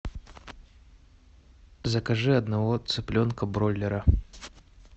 закажи одного цыпленка бройлера